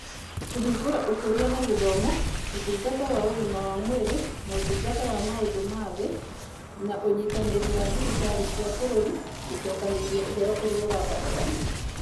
Kũhingũra Ũkũria na Gĩthomo, Ũtungata wa Ũgima wa Mwĩrĩ na Ũtungata wa Maũndũ ma Thĩ na Ũnyitanĩri wa Thirikari cia Bũrũri gũcokanĩrĩria ũhoro ũrĩa ũrabatarania.